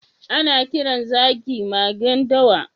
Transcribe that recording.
Ana kiran zaki magen dawa.